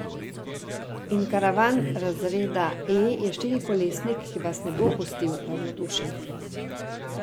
In karavan razreda E je štirikolesnik, ki vas ne bo pustil ravnodušnih.